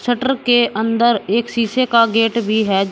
Shutter के अंदर एक शीशे का गेट भी है।